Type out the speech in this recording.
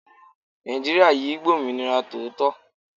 Naijiria yìí gb'ominira tòótọ